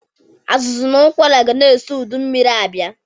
Azụzụ na ụkwara gana eso ụdụ mmiri abịa.